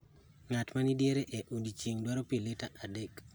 Ng'at maniediere e odiechieng' dwaro pi lita adek.